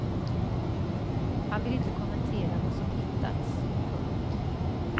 Han vill inte kommentera vad som hittats. punkt